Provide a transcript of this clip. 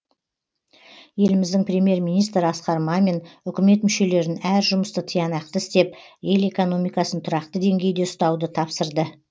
еліміздің премьер министрі асқар мамин үкімет мүшелерін әр жұмысты тиянақты істеп ел экономикасын тұрақты деңгейде ұстауды тапсырды